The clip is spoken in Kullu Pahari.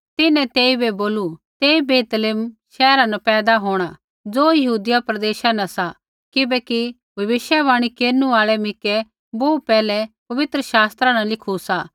तिन्हैं तेइबै बोलू तेई बैतलैहमा शैहरा न पैदा होंणा ज़ो यहूदिया प्रदेशा न सा किबैकि भविष्यवाणी केरनु आल़ै मिकै बोहू पैहलै पवित्र शास्त्रा न लिखू सा